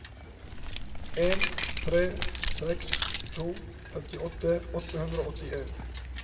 en tre seks to femtiåtte åtte hundre og åttien